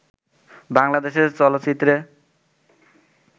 বাংলাদেশের চলচ্চিত্রে